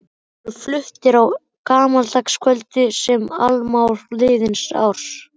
Þeir voru fluttir á gamlaárskvöldum sem annálar liðins árs.